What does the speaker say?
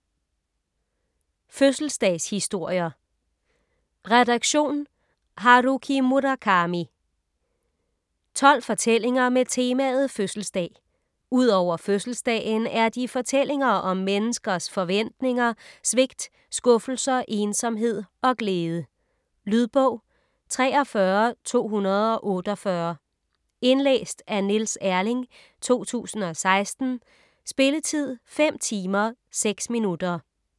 Fødselsdagshistorier Redaktion: Haruki Murakami 12 fortællinger med temaet fødselsdag. Ud over fødselsdagen er de fortællinger om menneskers forventninger, svigt, skuffelser, ensomhed og glæde. Lydbog 43248 Indlæst af Niels Erling, 2016. Spilletid: 5 timer, 6 minutter.